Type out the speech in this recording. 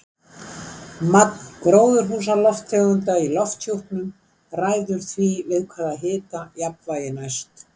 Magn gróðurhúsalofttegunda í lofthjúpnum ræður því við hvaða hita jafnvægi næst.